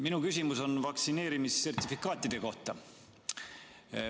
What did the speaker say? Minu küsimus on vaktsineerimissertifikaatide kohta.